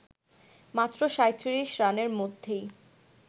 মাত্র ৩৭ রানের মধ্যেই